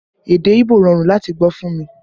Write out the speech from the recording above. Èdè Ibo rọrùn láti gbọ́ fún mi